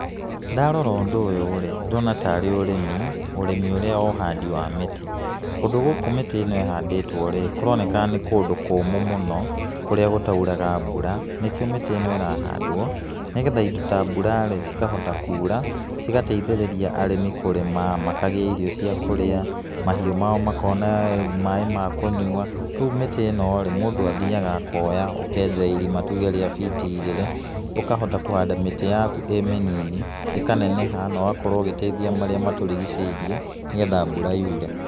Ndarora ũndũ ũyũ rĩ, ndĩrona tarĩ ũrĩmi. ũrĩmi ũrĩa wa ũhandi wa mĩtĩ, kũndũ gũkũ mĩtĩ ĩno ĩhandĩtwo rĩ, kũroneka nĩ kũndũ kũmũ mũno, kũrĩa gũtauraga mbura, nĩkĩo mĩtĩ ĩno ĩrahandwo nĩ getha indo ta mbura rĩ, cikahota kura, cigateithĩrĩria arĩmi kũrĩma makagĩa irio cia kũrĩa mahiũ mao makona maĩ ma kũnyua, rĩu mĩtĩ ĩno rĩ, mũndũ athiaga akoya ũkenja irima, tuge rĩa biti igĩrĩ, ũkahota kũhanda mĩtĩ yaku ĩ mĩnini ĩkaneneha na ũgakorwo ũgeĩteithia marĩa matũrigicĩirie nĩ getha mbura yure.